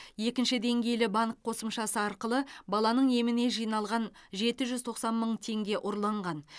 екінші деңгейлі банк қосымшасы арқылы баланың еміне жиналған жеті жүз тоқсан мың теңге ұрланған